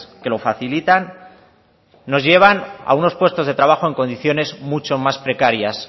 que lo facilitan nos llevan a unos puestos de trabajo en condiciones mucho más precarias